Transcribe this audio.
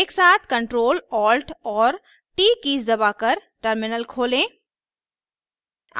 एक साथ ctrl alt और t कीज़ दबाकर टर्मिनल खोलें